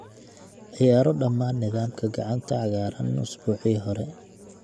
ciyaaro dhammaan nidaamka gacanta cagaaran usbuucii hore